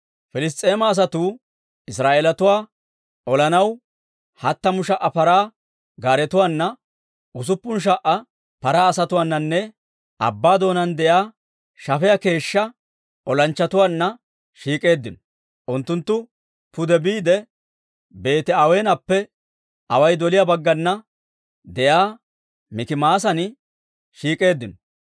Piliss's'eema asatuu Israa'eelatuwaa olanaw hattamu sha"a paraa gaaretuwaana, usuppun sha"a paraa asatuwaananne abbaa doonaan de'iyaa shafiyaa keeshshaa olanchchatuwaanna shiik'eeddino; unttunttu pude biide, Beeti-Aweenappe away doliyaa baggana de'iyaa Mikimaasan shiik'k'eeddino.